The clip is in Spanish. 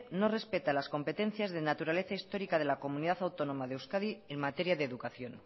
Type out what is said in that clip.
no respeta las competencias de naturaleza histórica de la comunidad autónoma de euskadi en materia de educación